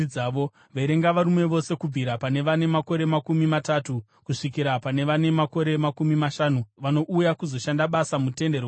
Verenga varume vose kubvira pane vane makore makumi matatu kusvikira pane vane makore makumi mashanu vanouya kuzoshanda basa muTende Rokusangana.